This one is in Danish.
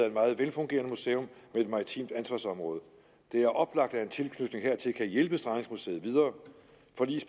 et meget velfungerende museum med et maritimt ansvarsområde det er oplagt at en tilknytning hertil kan hjælpe strandingsmuseet videre